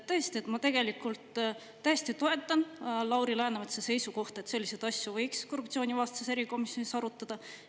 Tõesti, ma tegelikult täiesti toetan Lauri Läänemetsa seisukohta, et selliseid asju võiks korruptsioonivastases erikomisjonis arutada.